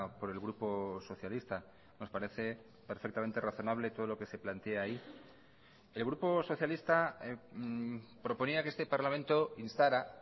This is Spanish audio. por el grupo socialista nos parece perfectamente razonable todo lo que se plantea ahí el grupo socialista proponía que este parlamento instara